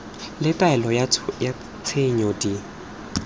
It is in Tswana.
le taelo ya tshenyo di